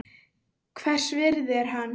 Hvers virði er hann?